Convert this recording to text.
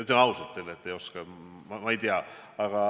Ütlen ausalt teile, et ei oska.